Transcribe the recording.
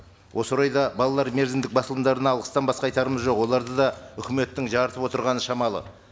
осы орайда балалар мерзімдік басылымдарына алғыстан басқа айтарымыз жоқ оларды да үкіметтің жырытып отырғаны шамалы